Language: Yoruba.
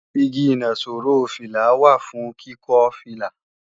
Igi ìnaṣọró fìlà wà fún kíkọ́ fìlà